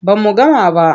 Ba mu gama ba.